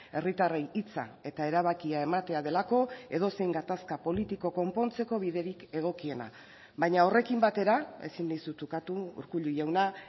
herritarrei hitza eta erabakia ematea delako edozein gatazka politiko konpontzeko biderik egokiena baina horrekin batera ezin dizut ukatu urkullu jauna